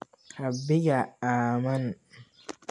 Rabbiga ammaan